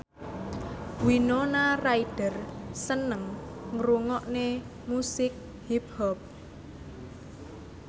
Winona Ryder seneng ngrungokne musik hip hop